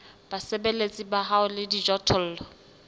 basebeletsi ba hao le dijothollo